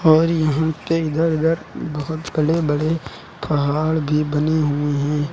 और यहां के इधर उधर बहुत बड़े बड़े पहाड़ भी बने हुए हैं।